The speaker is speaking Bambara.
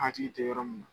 Hakili tɛ yɔrɔ min na